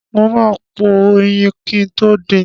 Mo ma po ẹyin kin tó din.